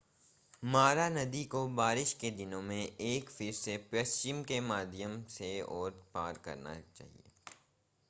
मारा नदी को बारिश के दिनों में एक फिर से पश्चिम के माध्यम से और पार करना